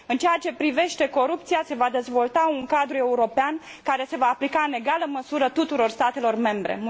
În ceea ce privește corupția, se va dezvolta un cadru european, care se va aplica în egală măsură tuturor statelor membre.